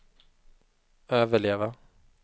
överleva